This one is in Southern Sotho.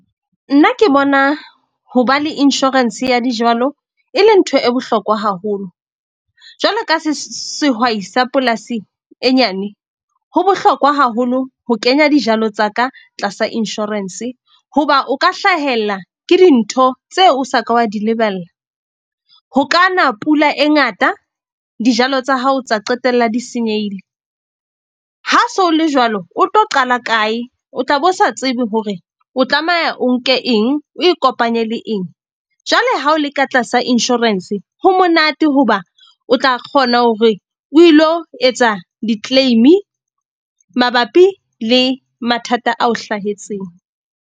Nna ke bona ho ba le insurance ya dijalo e le ntho e bohlokwa haholo. Jwalo ka sehwai sa polasi e nyane, ho bohlokwa haholo ho kenya dijalo tsa ka tlasa insurance. Hoba o ka hlahelwa ke dintho tseo o sa ka wa di lebella. Ho ka na pula e ngata dijalo tsa hao tsa qetella di senyehile. Ha se ho le jwalo, o tlo qala kae, o tla be o sa tsebe hore o tlameha o nke eng, o ikopanye le eng. Jwale ha o le ka tlasa insurance, ho monate hoba o tla kgona hore o ilo etsa di-claim-i mabapi le mathata ao hlahetseng.